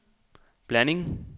blanding